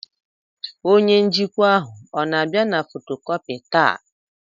Onye njikwa ahụ ọ na-abịa na fotocopier taa?